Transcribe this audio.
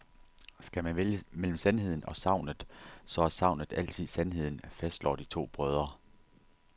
Skal man vælge mellem sandheden og sagnet, så er sagnet altid sandheden, fastslår de to brødre.